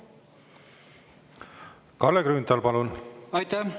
Kalle Grünthal, palun!